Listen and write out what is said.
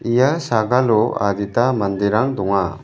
ia sagalo adita manderang donga.